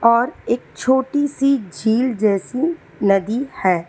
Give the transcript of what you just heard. और एक छोटी सी झील जैसी नदी है।